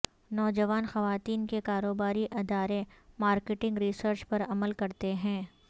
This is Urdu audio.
نوجوان خواتین کے کاروباری ادارے مارکیٹنگ ریسرچ پر عمل کرتے ہیں